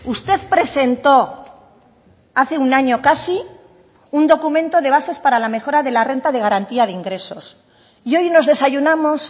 usted presentó hace un año casi un documento de bases para la mejora de la renta de garantía de ingresos y hoy nos desayunamos